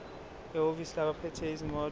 ehhovisi labaphethe izimoto